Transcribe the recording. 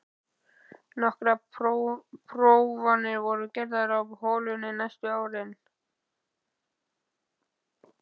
Nokkrar prófanir voru gerðar á holunni næstu árin.